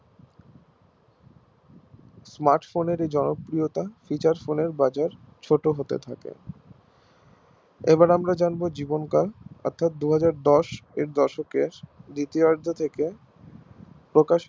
Smartphone এর জনপ্রিয়তা Features phone এর বাজার ছোট হতে থাকে এবার আমরা জানবো জীবনকাল অর্থাৎ দুহাজার দশ এর দশক থেকে দ্বিতীয়ার্ধ থেকে প্রকাশিত